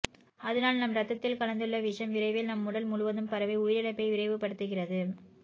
அதனால் நம் ரத்தத்தில் கலந்துள்ள விஷம் விரைவில் நம் உடல் முழுவதும் பரவி உயிரிழப்பை விரைவுபடுத்துகிறது